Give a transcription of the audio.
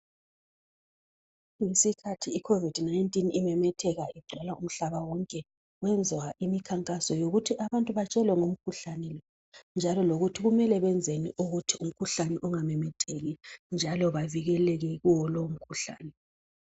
Ngesikhathi ikhovidi imemetheka igcwala umhlaba wonke kwenziwa imikhankaso yokuthi abantu batshelwe ngomkhuhlane lokuthi kumele benzeni ukuthi lumkhuhlane ungamemetheki njalo bavikeleke kuwo.